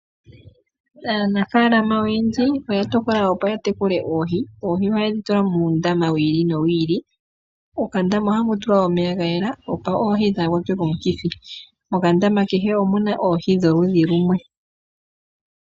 Aanafalama oyendji oya tokola opo ya tekule oohi. Oohi ohaye dhi tula muundama wi ili nowi ili. Mokandama ohamu tulwa omeya ga yela opo oohi dhaa kwatwe komukithi. Mokandama kehe omuna oohi dholudhi lumwe.